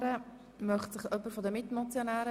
Das ist nicht der Fall.